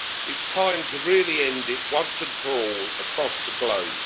It is time to really end it, once and for all, across the globe.